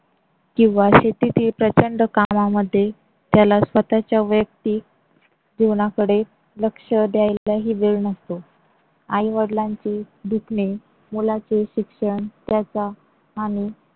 किंवा शेतीतील प्रचंड कामामध्ये त्याला स्वतःच्या वैयक्तिक जीवनाकडे लक्ष द्यायलाही वेळ नसतो. आई वडिलांची दुखणी, मुलांचे शिक्षण, त्याचा आणि